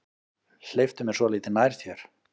Hleyptu mér svolítið nær þér.